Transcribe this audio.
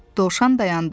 Dovşan dayandı.